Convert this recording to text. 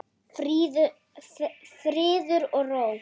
Friður og ró.